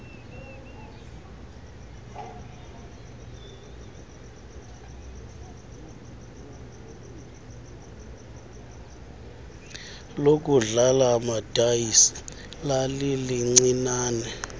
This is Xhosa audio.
lokudlala amadayisi lalilincinane